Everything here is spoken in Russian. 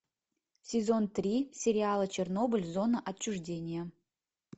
сезон три сериала чернобыль зона отчуждения